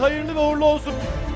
Xeyirli və uğurlu olsun.